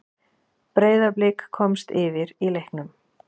Breiðablik komst yfir í leiknum.